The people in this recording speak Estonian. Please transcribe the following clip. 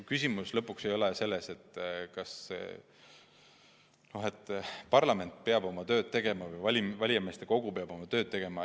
Küsimus ei ole selles, kas parlament peab oma tööd tegema või kas valijameeste kogu peab oma tööd tegema.